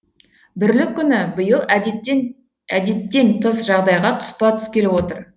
бірлік күні биыл әдеттен тыс жағдайға тұспа тұс келіп отыр